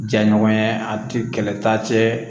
Ja ɲɔgɔnya a ti kɛlɛta cɛ